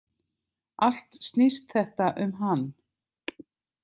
Allt snýst þetta um hann.